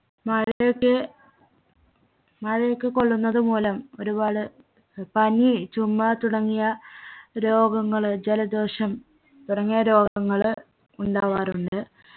മഴയൊക്കെ മഴയൊക്കെ കൊള്ള്ളുന്നത് മൂലം ഒരുപാട് ഏർ പനി ചുമ തുടങ്ങിയ രോഗങ്ങള് ജലദോഷം തുടങ്ങിയ രോഗങ്ങൾ ഉണ്ടാവാറുണ്ട്